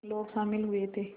लोग शामिल हुए थे